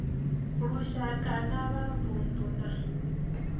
lushaka na wa vundu na